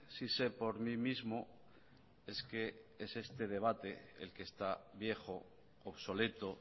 sí sé por mí mismo es que es este debate el que está viejo obsoleto